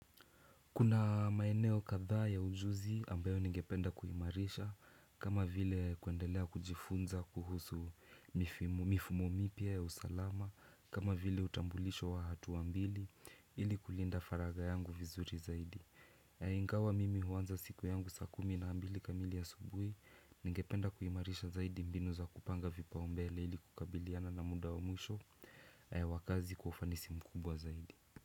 Kuna maeneo kadhaa ya ujuzi ambayo ningependa kuimarisha, kama vile kuendelea kujifunza kuhusu mifumo mipya ya usalama, kama vile utambulisho wawatu wawili, ili kulinda faraja yangu vizuri zaidi. Ingawa mimi huanza siku yangu saa kumi na mbili kamili ya asubuhi, ningependa kuimarisha zaidi mbinu za kupanga vipau mbele ili kukabiliana na muda wa mwisho, wa kazi kwa ufanisi mkubwa zaidi.